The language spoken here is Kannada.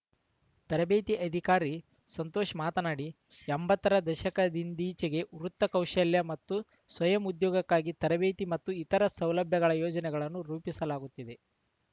ತರಬೇತಿ ಅಧಿಕಾರಿ ಸಂತೋಷ್‌ ಮಾತನಾಡಿ ಎಂಬತ್ತರ ದಶಕದಿಂದಿಚೆಗೆ ವೃತ್ತಿ ಕೌಶಲ್ಯ ಮತ್ತು ಸ್ವಯಂ ಉದ್ಯೋಗಕ್ಕಾಗಿ ತರಬೇತಿ ಮತ್ತು ಇತರೆ ಸೌಲಭ್ಯಗಳ ಯೋಜನೆಗಳನ್ನು ರೂಪಿಸಲಾಗುತ್ತಿದೆ